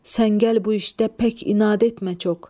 Sən gəl bu işdə pək inad etmə çox.